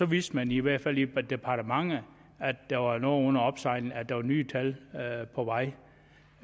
vidste man i hvert fald i departementet at der var noget under opsejling at der var nye tal på vej